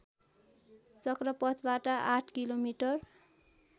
चक्रपथबाट आठ किलोमिटर